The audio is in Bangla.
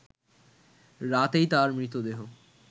রাতেই তার মৃতদেহ